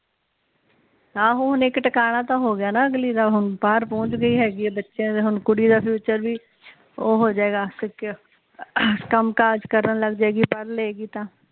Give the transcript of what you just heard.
ਆਹੋ ਹੁਣ ਇਕ ਟਿਕਾਣਾ ਤੇ ਹੋਗਿਆ ਨਾ ਅਗਲੀ ਦਾ ਹੁਣ ਬਾਹਰ ਪੋਚ ਗਈ ਹੇਗੀ ਆ ਬੱਚਿਆਂ ਦਾ ਹੁਣ ਕੁੜੀ ਦਾ ਫਿਊਚਰ ਵੀ ਉਹ ਹੋਜੇਗਾ ਸਿਕਿਓਰ ਕਮ ਕਾਜ ਕਰਨ ਲੱਗ ਜੇ ਗੀ ਪੜ੍ਹਲੇ ਗੀ ਤਾ